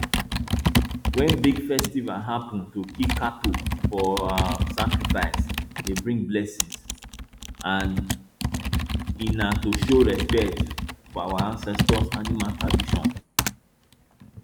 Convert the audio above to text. when big festival happen to kill cattle for um sacrifice dey bring blessings and e na to show respect for our ancestors animal tradition